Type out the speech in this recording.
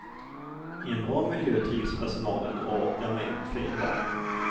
I en bra miljö trivs personalen och orkar med fler barn.